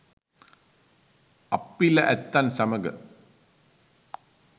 අප්පිල ඇත්තන් සමග